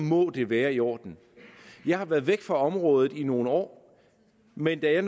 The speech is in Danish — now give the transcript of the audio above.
må det være i orden jeg har været væk fra området i nogle år men da jeg